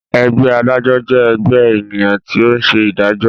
Ẹgbẹ́ adájọ́ jẹ ẹgbẹ ènìyàn tí o ń ṣe ìdájọ.